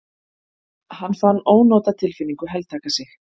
Hann fann ónotatilfinningu heltaka sig.